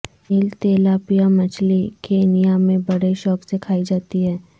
نیل tilapia مچھلی Kenya میں بڑے شوق سے کھائی جاتی ہے